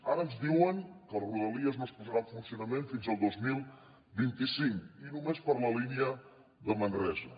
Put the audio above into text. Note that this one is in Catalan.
ara ens diuen que el rodalies no es posarà en funcionament fins al dos mil vint cinc i només per la línia de manresa